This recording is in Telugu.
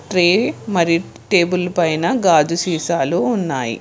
ట్రే మరి టేబుల్ పైన గాజు సీసాలు ఉన్నాయి.